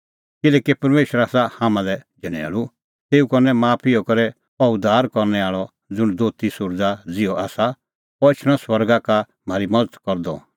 किल्हैकि परमेशर आसा हाम्हां लै झणैल़ू तेऊ करनै हाम्हैं माफ इहअ करै अह उद्धार करनै आल़अ ज़ुंण दोती सुरज़ा ज़िहअ आसा अह एछणअ स्वर्गा का म्हारी मज़त करदअ ताकि